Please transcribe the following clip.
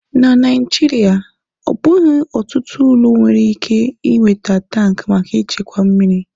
Na Naijiria, ọ bụghị ọtụtụ ụlọ nwere ike ị nweta tankị maka ịchekwa mmiri.